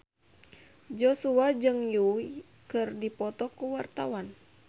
Joshua jeung Yui keur dipoto ku wartawan